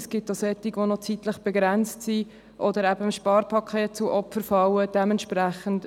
Es gibt auch solche, die zeitlich begrenzt oder eben dem Sparpaket zum Opfer fallen gefallen sind.